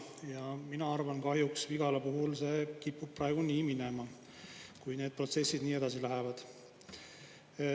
Ja mina arvan, kahjuks Vigala puhul see kipub praegu nii minema, kui need protsessid nii edasi lähevad.